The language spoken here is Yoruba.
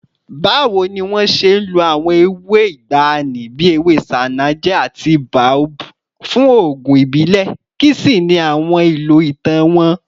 Báwo ni wọ́n ṣe ń lo àwọn ewé ìgbàanì bí ewé ṣánájẹ́ àti boabab fún oògùn ìbílẹ̀, kí sì ni àwọn ìlò ìtàn wọn?